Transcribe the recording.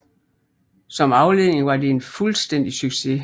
Som afledning var det en fuldstændig succes